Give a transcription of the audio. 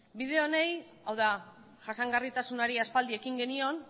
bide honi hau da jasangarritasunari aspaldi ekin genion